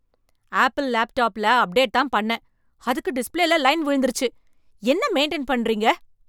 Apple லேப்டாப்ல, update தான் பண்ணேன், அதுக்கு டிஸ்ப்ளேல லைன் விழுந்திருச்சு? என்ன மெயின்டைன் பண்றீங்க.